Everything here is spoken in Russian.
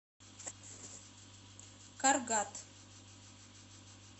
каргат